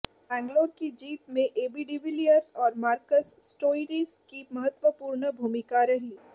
बैंगलोर की जीत में एबी डीविलियर्स और मार्कस स्टोइनिस की महत्वपूर्ण भूमिका रही